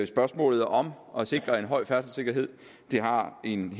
spørgsmålet om at sikre en høj færdselssikkerhed har en